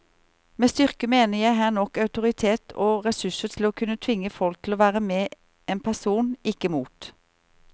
Med styrke mener jeg her nok autoritet og ressurser til å kunne tvinge folk til å være med en person, ikke mot.